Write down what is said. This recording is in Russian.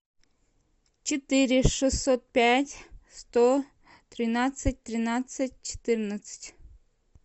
четыре шестьсот пять сто тринадцать тринадцать четырнадцать